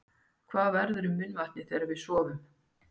Hvað verður um munnvatnið þegar við sofum?